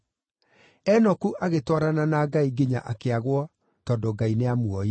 Enoku agĩtwarana na Ngai nginya akĩagwo tondũ Ngai nĩamuoire.